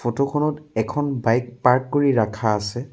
Photo খনত এখন bike park কৰি ৰাখা আছে।